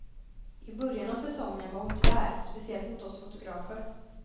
I början av säsongen var hon tvär, speciellt mot oss fotografer.